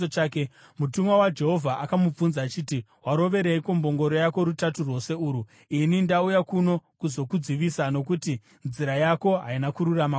Mutumwa waJehovha akamubvunza achiti, “Warovereiko mbongoro yako rutatu rwose urwu? Ini ndauya pano kuzokudzivisa nokuti nzira yako haina kururama kwandiri.